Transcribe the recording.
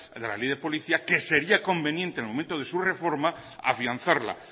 de la ley de policía que sería conveniente en el momento de su reforma afianzarla